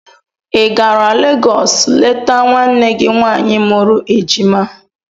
Ị gara Legọs leta nwanne gị nwaanyị mụrụ ejima?